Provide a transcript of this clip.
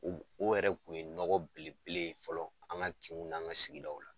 O o yɛrɛ kun ye nɔgɔ belebe ye fɔlɔ an ka kinw n'an ka sigidaw la.